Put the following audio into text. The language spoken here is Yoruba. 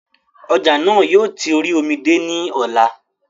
Ọjà náà yóò ti orí omi dé ní ọ̀la